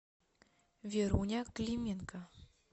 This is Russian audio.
веруня клименко